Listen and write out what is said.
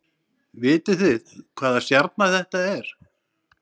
Vitið þið hvaða stjarna þetta er